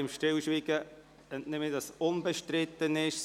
– Ihrem Stillschweigen entnehme ich, dass dieser unbestritten ist.